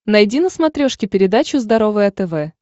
найди на смотрешке передачу здоровое тв